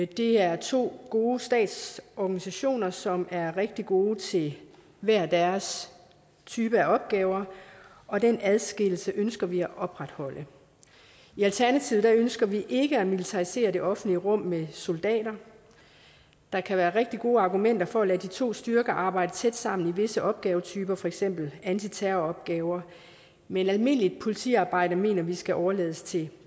det er to gode statsorganisationer som er rigtig gode til hver deres type af opgaver og den adskillelse ønsker vi at opretholde i alternativet ønsker vi ikke at militarisere det offentlige rum med soldater der kan være rigtig gode argumenter for at lade de to styrker arbejde tæt sammen om visse opgavetyper for eksempel antiterroropgaver men almindeligt politiarbejde mener vi skal overlades til